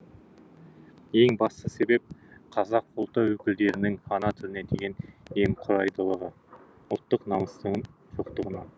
ең басты себеп қазақ ұлты өкілдерінің ана тіліне деген немқұрайдылығы ұлттық намыстың жоқтығынан